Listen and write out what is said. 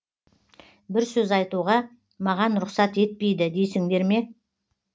бір сөз айтуға маған рұқсат етпейді дейсіңдер ме